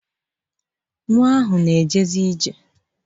Nwa ahụ na-ejezi ije.